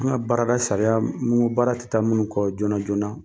N ka baarada sariya nko baara tɛ taa minnu kɔ joona joonana